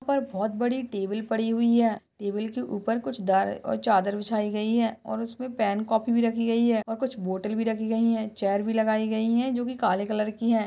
यहाँ पर बहुत बड़ी टेबल पड़ी हुई है टेबल के ऊपर कुछ दर और चादर बिछाई गई है और उस पर पेन कापी भी रखी गई है और कुछ बोतल भी रखी गई है। चेयर भी लगाई गई है जोकि काले कलर की है।